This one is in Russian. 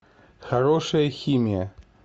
хорошая химия